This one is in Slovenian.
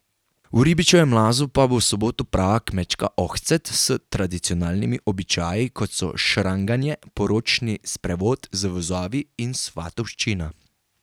V Ribčevem lazu pa bo v soboto prava Kmečka ohcet s tradicionalnimi običaji, kot so šranganje, poročni sprevod z vozovi in svatovščina.